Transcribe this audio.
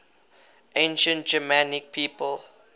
ancient germanic peoples